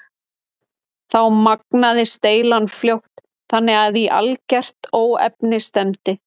Þá magnaðist deilan fljótt þannig að í algert óefni stefndi.